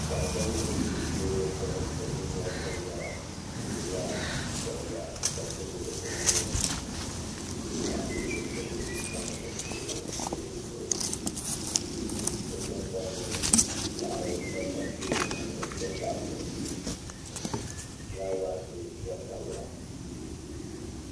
Daa dam ʒɛ teebuli gbuni o bi yina viɛŋyɛla o gbubila koliba kopi bil o nuuni ka pileetibil tam o tooni teebuli zuɣu o tiŋgbani laɣiri gba pa teebuli zuɣu n ti pahi kundufulaawaasi gba tamya